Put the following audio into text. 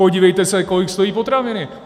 Podívejte se, kolik stojí potraviny!